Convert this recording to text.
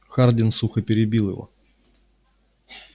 хардин сухо перебил его